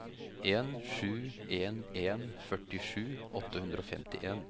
en sju en en førtisju åtte hundre og femtien